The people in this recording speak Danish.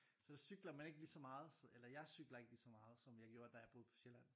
Så der cykler man ikke lige så meget eller jeg cykler ikke lige så meget som jeg gjorde da jeg boede på sjælland